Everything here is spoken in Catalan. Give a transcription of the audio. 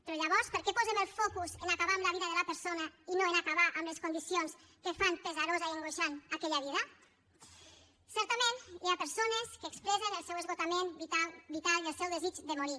però llavors per què posem el focus en acabar amb la vida de la persona i no en acabar amb les condicions que fan pesarosa i angoixant aquella vida certament hi ha persones que expressen el seu esgotament vital vital i el seu desig de morir